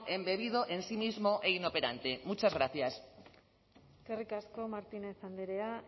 embebido en sí mismo e inoperante muchas gracias eskerrik asko martínez andrea